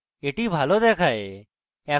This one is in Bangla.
that ভালো দেখায়